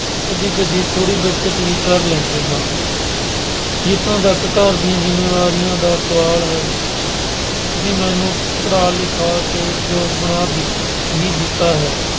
ਕਦੀ-ਕਦੀ ਥੋੜ੍ਹੀ ਬਚਤ ਵੀ ਕਰ ਲੈਂਦੇ ਹਾਂ। ਜਿਥੋਂ ਤੱਕ ਘਰ ਦੀਆਂ ਜਿੰਮੇਵਾਰੀਆਂ ਦਾ ਸਵਾਲ ਹੈ, ਤੁਸੀਂ ਮੈਨੂੰ ਪੜ੍ਹਾ ਲਿਖਾ ਕੇ ਯੋਗ ਬਣਾ ਹੀ ਦਿੱਤਾ ਹੈ।